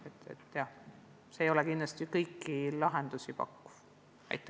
See ei tähenda kindlasti kõikidele lahenduse pakkumist.